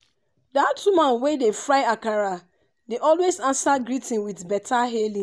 dat woman wey dey fry akara dey always answer greeting with beta hailing.